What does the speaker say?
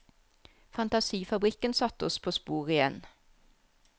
Fantasifabrikken satte oss på sporet igjen.